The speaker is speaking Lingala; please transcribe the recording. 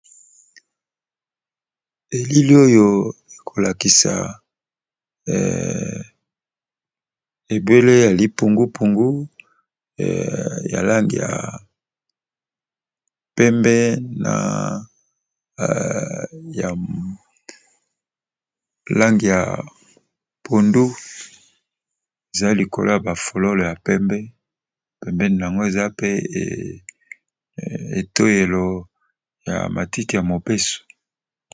Elili oyo ekolakisa ebele ya lipungupungu yalangi ya pembe na ya lange ya pondu, eza likolo ya ba folole ya pembe, pembeni yango eza pe etoyelo ya matite ya mobeso.